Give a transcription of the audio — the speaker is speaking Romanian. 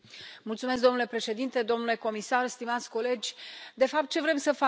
Domnule președinte, domnule comisar, stimați colegi, de fapt ce vrem să facem?